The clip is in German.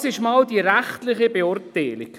Das ist jetzt einmal die rechtliche Beurteilung.